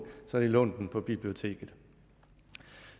har lånt den på biblioteket